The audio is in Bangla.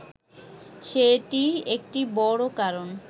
সেটি একটি বড় কারণ